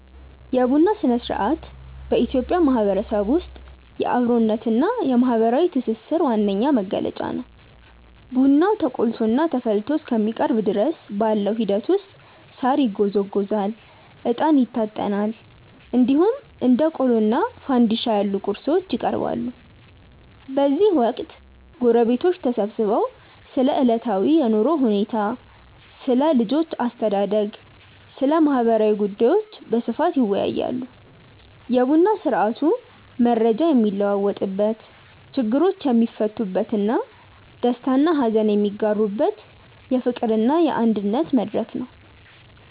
የቡና ሥነ-ሥርዓት በኢትዮጵያ ማህበረሰብ ውስጥ የአብሮነትና የማህበራዊ ትስስር ዋነኛ መገለጫ ነው። ቡናው ተቆልቶና ተፈልቶ እስከሚቀርብ ድረስ ባለው ሂደት ውስጥ ሳር ይጎዘጎዛል፣ እጣን ይታጠናል፣ እንዲሁም እንደ ቆሎና ፋንድሻ ያሉ ቁርሶች ይቀርባሉ። በዚህ ወቅት ጎረቤቶች ተሰብስበው ስለ ዕለታዊ የኑሮ ሁኔታ፣ ስለ ልጆች አስተዳደግና ስለ ማህበራዊ ጉዳዮች በስፋት ይወያያሉ። የቡና ስርአቱ መረጃ የሚለዋወጥበት፣ ችግሮች የሚፈቱበትና ደስታና ሀዘን የሚጋሩበት የፍቅርና የአንድነት መድረክ ነው።